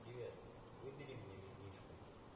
привет выберем мне вино